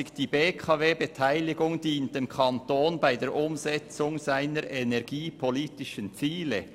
«Die BKW dient dem Kanton in der Umsetzung seiner energiepolitischen Ziele.